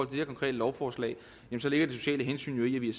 det her konkrete lovforslag ligger det sociale hensyn jo i at vi